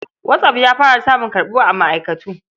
WhatApp ya fara samun karɓuwa a ma'aikatu.